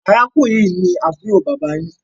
Arákùnrin yí ní àbúrò bàbà yín